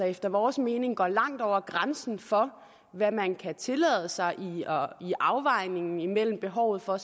efter vores mening går langt ud over grænsen for hvad man kan tillade sig i afvejningen imellem behovet for